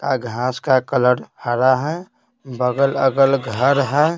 घास का कलर हरा है बगल अगल घर है।